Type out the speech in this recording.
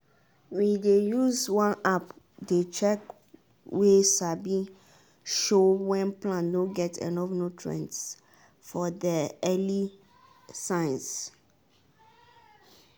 we dey use one app dey check way sabi show when plant no get enough nutrients for there early signs